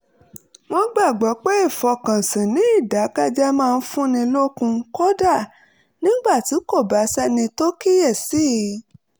wọ́n gbàgbọ́ pé ìfọkànsìn ní ìdákẹ́jẹ́ẹ́ máa ń fúnni lókun kódà nígbà tí kò bá sẹ́ni tó kíyè sí i